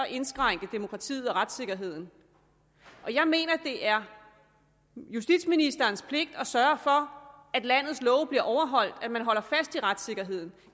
indskrænke demokratiet og retssikkerheden jeg mener at det er justitsministerens pligt at sørge for at landets love bliver overholdt at man holder fast i retssikkerheden